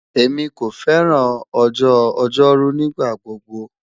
Emi ko fẹran ọjọ-ojoru nigbagbogbo